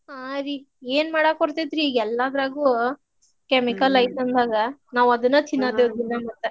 ಹಾ ರೀ ಏನ್ ಮಾಡಾಕ್ ಬರ್ತೇತ್ರಿ ಈಗೆಲ್ಲಾದ್ರಾಗೂ chemical ಐತಂದಾಗ ನಾವ್ ಅದನ್ನ ತಿನ್ನಾತೇವಿ ದಿನಾ ಮತ್ತ್.